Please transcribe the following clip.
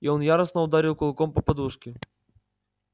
и он яростно ударил кулаком по подушке